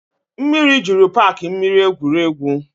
Mmiri jụrụ paaki mmiri egwuregwu